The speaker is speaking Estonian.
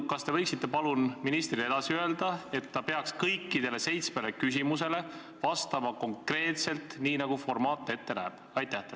Kas te võiksite palun ministrile edasi öelda, et ta peaks kõigile seitsmele küsimusele vastama konkreetselt nii, nagu formaat ette näeb?